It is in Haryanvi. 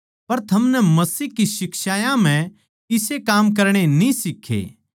पर थमनै मसीह की शिक्षायां म्ह इसे काम करणे न्ही सीखे